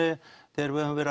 þegar við höfum verið